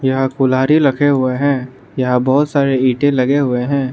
यहां कुल्हाड़ी लखे हुए हैं यहां बहोत सारे ईटे लगे हुए हैं।